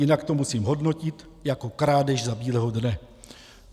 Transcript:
Jinak to musím hodnotit jako krádež za bílého dne.